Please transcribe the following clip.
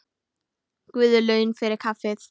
Guð laun fyrir kaffið.